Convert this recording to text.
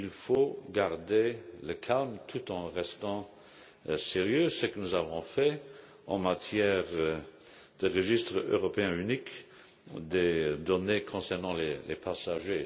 Il faut garder son calme, tout en restant sérieux. C'est ce que nous avons fait en matière de registre européen unique des données concernant les passagers.